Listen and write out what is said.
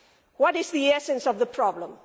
What is the essence of the problem?